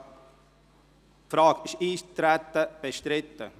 Ist das Eintreten bestritten?